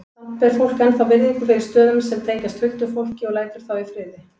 Samt ber fólk ennþá virðingu fyrir stöðum sem tengjast huldufólki og lætur þá í friði.